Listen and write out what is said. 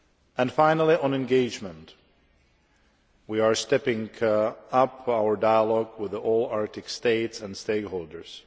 And finally, on engagement we are stepping up our dialogue with all Arctic states and stakeholders.